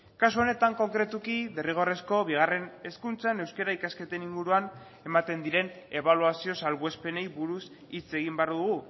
kasu honetan konkretuki derrigorrezko bigarren hezkuntzan euskara ikasketen inguruan ematen diren ebaluazio salbuespenei buruz hitz egin behar dugu